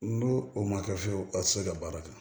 N'u o ma kɛ fiyewu a tɛ se ka baara kɛ